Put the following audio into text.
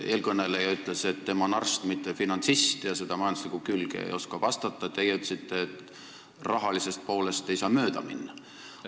Eelkõneleja ütles, et tema on arst, mitte finantsist ja majandusliku külje kohta ei oska vastata, teie ütlesite, et rahalisest poolest ei saa mööda minna.